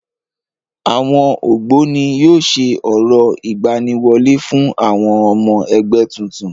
Àwọn Ògbóni yóò ṣe orò ìgbaniwọlé fún ọmọ ẹgbẹ́ tuntun.